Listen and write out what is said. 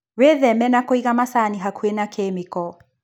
Wĩtheme na kũiga macani hakuhĩ na kĩmĩko.